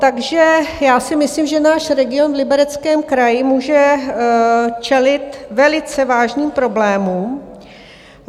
Takže já si myslím, že náš region v Libereckém kraji může čelit velice vážným problémům.